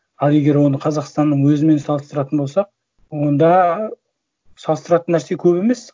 ал егер оны қазақстанның өзімен салыстыратын болсақ онда салыстыратын нәрсе көп емес